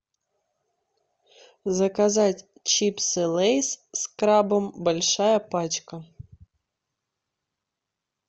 заказать чипсы лейс с крабом большая пачка